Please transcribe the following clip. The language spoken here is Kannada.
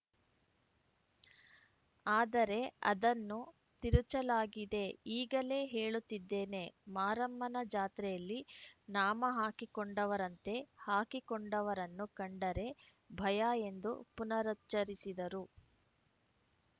ಅದರೆ ಅದನ್ನು ತಿರುಚಲಾಗಿದೆ ಈಗಲೇ ಹೇಳುತ್ತಿದ್ದೇನೆ ಮಾರಮ್ಮನ ಜಾತ್ರೆಯಲ್ಲಿ ನಾಮ ಹಾಕಿಕೊಂಡವರಂತೆ ಹಾಕಿಕೊಂಡವರನ್ನು ಕಂಡರೆ ಭಯ ಎಂದು ಪುನರುಚ್ಚರಿಸಿದರು